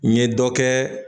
N ye dɔ kɛ